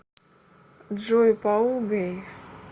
джой паул гэй